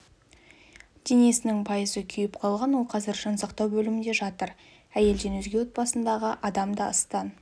денесінің пайызы күйіп қалған ол қазір жансақтау бөлімінде жатыр әйелден өзге отбасындағы адам да ыстан